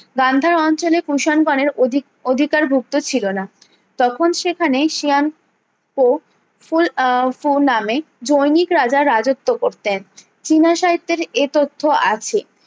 গান্ধার অঞ্চলে কুষাণ গণের অধিক অধিকার ভুক্ত ছিলনা তখন সেখানে সিয়ান কো ফুল আহ ফো নামে জৈনিক রাজা রাজত্ব করতেন চীনা সাহিত্যের এ তথ্য আছে